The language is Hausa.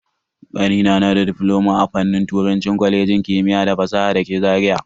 Kanina na difloma a fannin turanci a kwalejin kimiyya da fasaha dake Zaria.